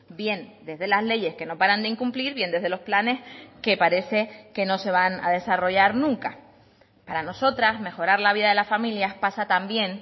bien desde las leyes que no paran de incumplir bien desde los planes que parece que no se van a desarrollar nunca para nosotras mejorar la vida de las familias pasa también